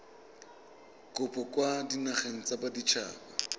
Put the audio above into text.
kopo kwa dinageng tsa baditshaba